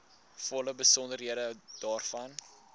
volle besonderhede daarvan